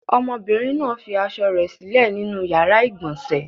Ọmọbìnrin náà fi aṣọ rẹ̀ sílẹ̀ nínú ìyàrá-ìgbọ̀nsẹ̀.